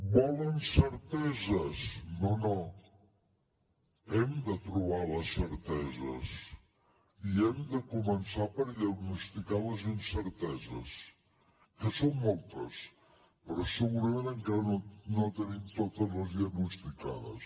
volen certeses no no hem de trobar les certeses i hem de començar per diagnosticar les incerteses que són moltes però segurament encara no les tenim totes diagnosticades